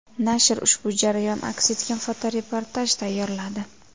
Nashr ushbu jarayon aks etgan fotoreportaj tayyorladi.